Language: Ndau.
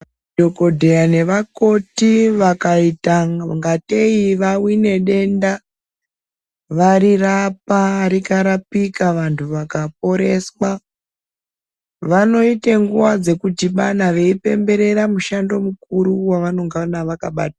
Madhogodheya nevakoti vakaita ingatei vahwine denda, varirapa rikarapika, vanhu vakaporeswa, vanoite nguva dzekudhibana veipemberera mushando mukuru wavanenga vakaba....